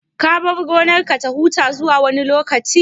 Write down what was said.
Ka bar gonarka ta huta zuwa wani lokaci?